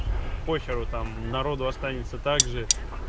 похеру там народу останется также